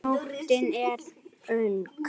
Nóttin er ung